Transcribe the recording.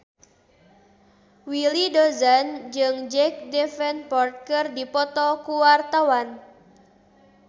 Willy Dozan jeung Jack Davenport keur dipoto ku wartawan